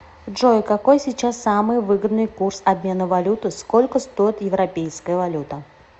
джой какой сейчас самый выгодный курс обмена валюты сколько стоит европейская валюта